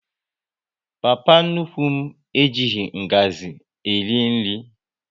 Papa nnukwu e jighị ngazi eri nri